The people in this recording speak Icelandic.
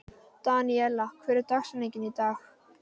Daníella, hver er dagsetningin í dag?